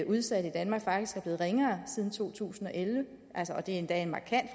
udsatte i danmark faktisk er blevet ringere siden to tusind og elleve og det er endda et markant